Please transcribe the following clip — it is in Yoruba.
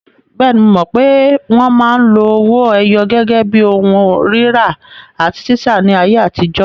Bẹ́ẹ̀ni, mo mọ̀ pé wọn máa ń lo owó ẹyọ gẹ́gẹ́ bí ohun rírà àti títà ní ayé àtijọ́.